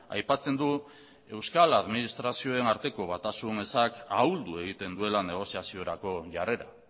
aipatzen du euskal administrazioen arteko batasun ezak ahuldu egiten duela negoziaziorako jarrera